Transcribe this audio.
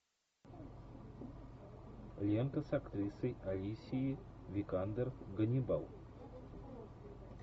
лента с актрисой алисией викандер ганнибал